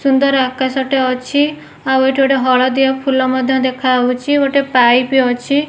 ସୁନ୍ଦର ଆକାଶ ଟେ ଅଛି ଆଉ ଏଠି ଗୋଟେ ହଳଦିଆ ଫୁଲ ମଧ୍ୟ୍ୟ ଦେଖାଯାଉଛି ଗୋଟେ ପାଇପ ଅଛି।